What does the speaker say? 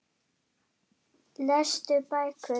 Lestu bækur.